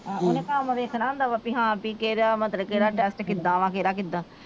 ਉਹਨੇ ਕੰਮ ਵੇਖਣਾ ਹੁੰਦਾ ਵਾ ਪੀ ਹਾਂ ਪੀ ਕਿਹੜਾ ਮਤਲਬ ਕਿਹੜਾ ਟੈਸਟ ਕਿਦਾਂ ਆ ਕਿਹੜਾ ਕਿਦਾਂ।